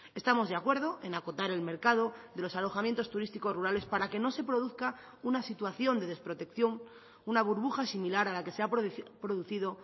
estamos de acuerdo en acotar el mercado de los alojamientos turísticos rurales para que no se produzca una situación de desprotección una burbuja similar a la que se ha producido